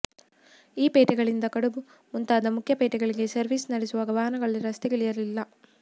ಈ ಪೇಟೆಗಳಿಂದ ಕಡಬ ಮುಂತಾದ ಮುಖ್ಯ ಪೇಟೆಗಳಿಗೆ ಸರ್ವಿಸ್ ನಡೆಸುವ ವಾಹನಗಳು ರಸ್ತೆಗಿಳಿಯಲಿಲ್ಲ